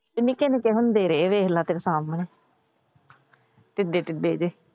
ਸਾਂਨੂੰ ਦੇ ਰਹੇ ਦੇਖ ਲੈ ਤੇਰੇ ਸਾਮਣੇ। ਟਿੱਡੇ ਟਿੱਡੇ ਜਿਹੇ।